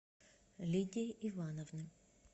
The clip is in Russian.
лидии ивановны